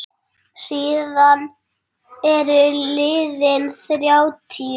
Síðan eru liðin þrjátíu ár.